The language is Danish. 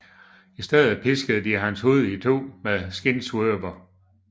I stedet piskede de hans hud itu med skindsvøber